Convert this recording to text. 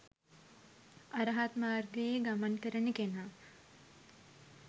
අරහත් මාර්ගයේ ගමන් කරන කෙනා